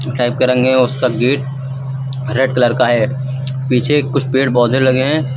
Type का रंग है उसका गेट रेड कलर का है पीछे कुछ पेड़ पौधे लगे हैं।